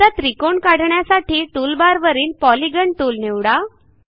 आता त्रिकोण काढण्यासाठी टूलबारवरील पॉलिगॉन टूल निवडा